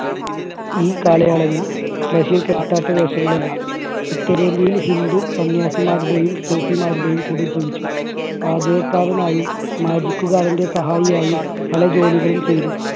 ഈ കാലയളവിൽ ബഷീർ കെട്ടാത്ത വേഷങ്ങളില്ല ഉത്തരേന്ത്യയിൽ ഹിന്ദു സന്യാസിമാരുടെയും സൂഫിമാരുടെയും കൂടെ ജീവിച്ചു. പാചകക്കാരനായും magic കാരൻറെ സഹായിയായും പല ജോലികളും ചെയ്തു.